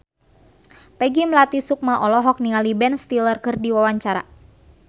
Peggy Melati Sukma olohok ningali Ben Stiller keur diwawancara